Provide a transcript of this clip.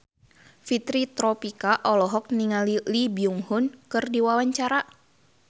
Fitri Tropika olohok ningali Lee Byung Hun keur diwawancara